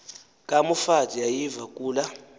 kamoffat yayiviwa kula